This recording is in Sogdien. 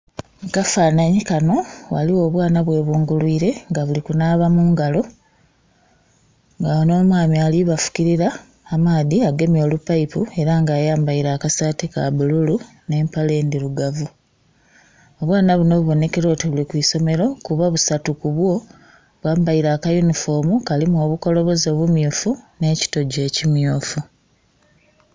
Mu kafananhi kano waliwo obwana bwebungulwire nga buli kunaaba mungalo. Nga nh'omwami ali bafukilira amaadhi agemye olupaipu era nga ayambaile akasaati ka bululu nh'empale ndhirugavu. Obwana buno bubonekera oti buli ku isomero kuba busati kubwo bwambaile aka yunifoomu kalimu obukoloboze bumyufu nh'ekitogi ekimyufu.